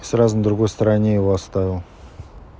сразу на другой стороне его оставил